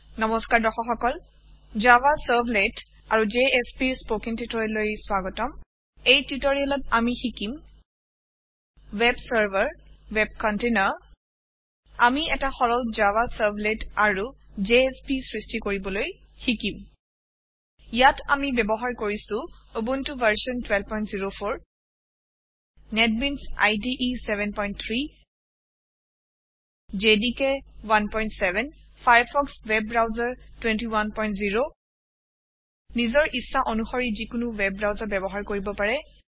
নমস্কাৰ দৰ্শক সকল জাভা চাৰ্ভলেট আৰু JSPৰ স্পৌকেন টিওটৰিয়েললৈ স্বাগতম এই টিওটৰিয়েলত আমি শিকিম ৱেব চাৰ্ভাৰ ৱেব কন্টেইনাৰ আমি এটা সৰল জাভা চাৰ্ভলেট আৰু জেএছপি সৃষ্টি কৰিবলৈ শিকিম ইয়াত আমি ব্যৱহাৰ কৰিছো Ubuntu version 1204 NetBeans IDE 73 JDK 17 Firefox web browser 210 নিজৰ ইচ্ছা অনুশৰি যিকোনো ৱেব ব্ৰাউচাৰ ব্যৱহাৰ কৰিব পাৰে